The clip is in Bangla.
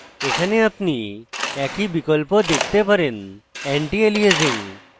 এখানে আপনি একই বিকল্প দেখতে পারেন antialiasing